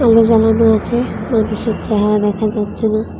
আছে মানুষের চেহারা দেখা যাচ্ছে না।